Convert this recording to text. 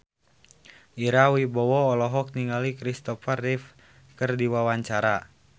Ira Wibowo olohok ningali Kristopher Reeve keur diwawancara